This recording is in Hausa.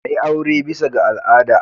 A yi aure bisa ga al'ada.